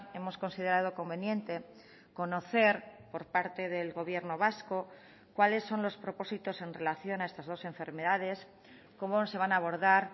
hemos considerado conveniente conocer por parte del gobierno vasco cuáles son los propósitos en relación a estas dos enfermedades cómo se van a abordar